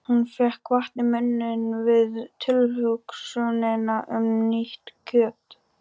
Hún fékk vatn í munninn við tilhugsunina um nýtt kjöt.